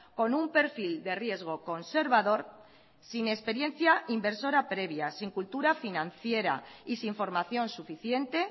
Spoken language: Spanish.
con un perfil de riesgo conservador sin experiencia inversora previa sin cultura financiera y sin formación suficiente